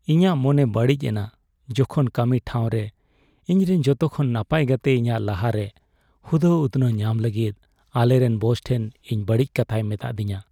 ᱤᱧᱟᱹᱜ ᱢᱚᱱᱮ ᱵᱟᱹᱲᱤᱡ ᱮᱱᱟ ᱡᱚᱠᱷᱚᱱ ᱠᱟᱹᱢᱤ ᱴᱷᱟᱶᱨᱮ ᱤᱧᱨᱮᱱ ᱡᱚᱛᱚᱠᱷᱚᱱ ᱱᱟᱯᱟᱭ ᱜᱟᱛᱮ ᱤᱧᱟᱹᱜ ᱞᱟᱦᱟᱨᱮ ᱦᱩᱫᱟᱹ ᱩᱛᱱᱟᱹᱣ ᱧᱟᱢ ᱞᱟᱹᱜᱤᱫ ᱟᱞᱮᱨᱮᱱ ᱵᱚᱥ ᱴᱷᱮᱱ ᱤᱧ ᱵᱟᱹᱲᱤᱡ ᱠᱟᱛᱷᱟᱭ ᱢᱮᱛᱟᱹᱫᱤᱧᱟ ᱾